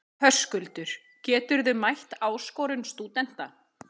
Höskuldur: Geturðu mætt áskorun stúdenta?